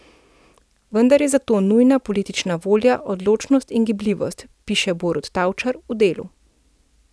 Vendar je za to nujna politična volja, odločnost in gibljivost, piše Borut Tavčar v Delu.